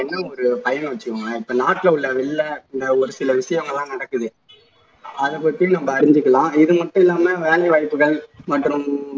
என்ன ஒரு பயன்னு வெச்சுக்கோங்களேன் இப்போ நாட்டுல உள்ள வெளிய இந்த ஒரு சில விஷயங்கள் எல்லாம் நடக்குது அதை பத்தி நம்ம அறிஞ்சுக்கலாம் இதுமட்டும் இல்லாம வேலை வாய்ப்புகள் மற்றும்